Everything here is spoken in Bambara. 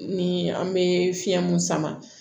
Ni an bɛ fiɲɛ mun sama